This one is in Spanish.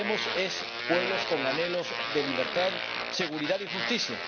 vemos pueblos con anhelos de libertad, seguridad y justicia.